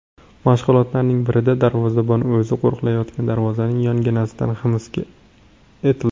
Mashg‘ulotlarning birida darvozabon o‘zi qo‘riqlayotgan darvozaning yonginasida hibs etildi.